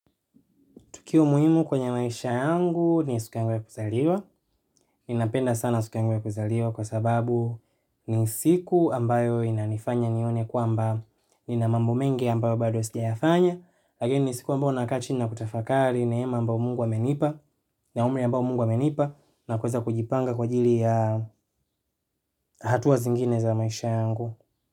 Tukio muhimu kwenye maisha yangu ni siku yangu ya kuzaliwa. Ninapenda sana siku yangu ya kuzaliwa kwa sababu ni siku ambayo inanifanya nione kwamba nina mambo mengi ambayo bado sijayafanya. Lakini siku ambayo nakaa chini na kutafakari neema ambayo Mungu amenipa na umri ambayo Mungu amenipa na kuweza kujipanga kwa ajili ya hatua zingine za maisha yangu.